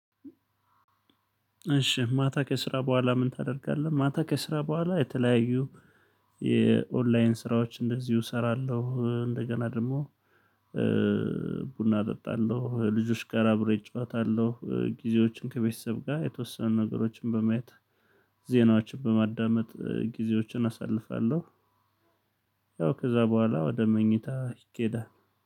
እሺ ማታ ከስራ በኋላ ምን ታደርጋለህ? ማታ ከስራ በኋላ የተለያዩ የኦንላይን ስራዎች እንደዚሁ እሰራለሁ እንደገና ደሞ ቡና እጠጣለሁ ልጆች ጋር አብሬ እጫወታለሁ ጊዜዎችን ከቤተሰብ ጋር የተወሰኑ ነገሮችን በማየት ዜናዎችን በማዳመጥ ጊዜዎችን አሳልፋለሁ። ያው ከዛ በኋላ ወደ መኝታ ይኬዳል